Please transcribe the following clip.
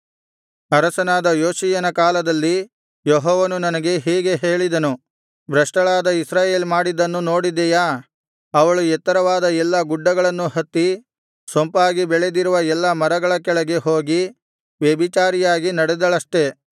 ಅರಸನಾದ ಯೋಷೀಯನ ಕಾಲದಲ್ಲಿ ಯೆಹೋವನು ನನಗೆ ಹೀಗೆ ಹೇಳಿದನು ಭ್ರಷ್ಟಳಾದ ಇಸ್ರಾಯೇಲ್ ಮಾಡಿದ್ದನ್ನು ನೋಡಿದೆಯಾ ಅವಳು ಎತ್ತರವಾದ ಎಲ್ಲಾ ಗುಡ್ಡಗಳನ್ನು ಹತ್ತಿ ಸೊಂಪಾಗಿ ಬೆಳೆದಿರುವ ಎಲ್ಲಾ ಮರಗಳ ಕೆಳಗೆ ಹೋಗಿ ವ್ಯಭಿಚಾರಿಯಾಗಿ ನಡೆದಳಷ್ಟೆ